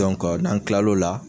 n'an tilal'o la